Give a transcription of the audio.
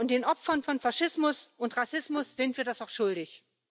Den Opfern von Faschismus und Rassismus sind wir das auch schuldig.